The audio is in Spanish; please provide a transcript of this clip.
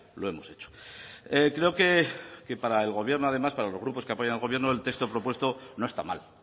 lo hemos hecho creo que para el gobierno además para los grupos que apoyan al gobierno el texto propuesto no está mal